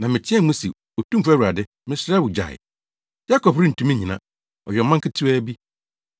Na meteɛɛ mu se, “Otumfo Awurade, mesrɛ wo, gyae! Yakob rentumi nnyina! Ɔyɛ ɔman ketewa bi.”